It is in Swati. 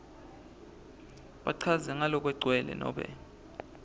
bachaze ngalokugcwele nobe